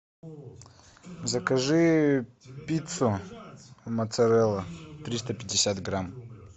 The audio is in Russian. закажи пиццу моцарелла триста пятьдесят грамм